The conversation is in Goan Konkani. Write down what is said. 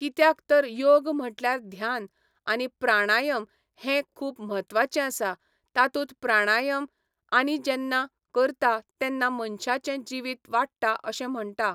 कित्याक तर योग म्हटल्यार ध्यान आनी प्राणायम हे खूब म्हत्वाचे आसा तातूंत प्राणायम आमी जेन्ना करतां तेन्ना मनशांचे जिवीत वाडटां अशें म्हणटां